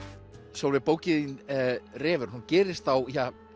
Sólveig bókin þín refurinn hún gerist á